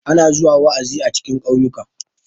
ana zuwa wa'azi cikin kauyuka